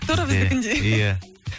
тура біздікіндей иә